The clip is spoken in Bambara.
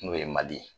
N'o ye mali ye